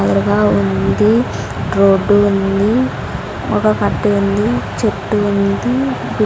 గోడగా ఉంది రోడ్డు ఉంది ఒక కట్టే ఉంది చెట్టు ఉంది --